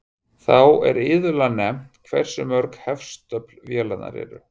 Þá er iðulega nefnt hversu mörg hestöfl vélarnar eru.